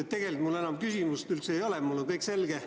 Tegelikult mul enam küsimusi ei ole, mulle on kõik selge.